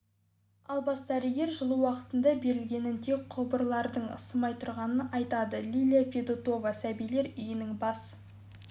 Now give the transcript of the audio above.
ал бас дәрігер жылу уақытында берілгенін тек құбырлардың ысымай тұрғанын айтады лилия федотова сәбилер үйінің бас